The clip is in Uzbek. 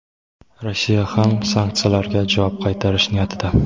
Rossiya ham sanksiyalarga javob qaytarish niyatida.